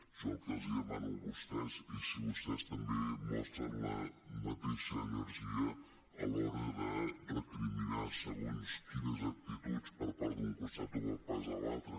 jo el que els demano a vostès i si vostès també mostren la mateixa energia a l’hora de recriminar segons quines actituds per part d’un costat o per part de l’altre